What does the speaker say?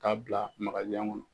K'a bila kɔnɔ.